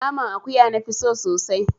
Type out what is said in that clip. Naman akuya na fi so sosai